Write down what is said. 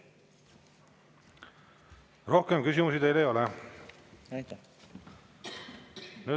Rohkem küsimusi teile ei ole.